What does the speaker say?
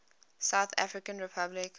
south african republic